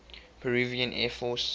peruvian air force